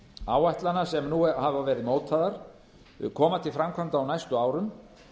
áætlana sem nú hafa verið mótaðar koma til framkvæmda á næstu árum